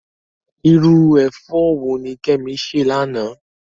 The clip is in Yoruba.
Irú ẹ̀fọ́ wo ni Kemi sè lánàá?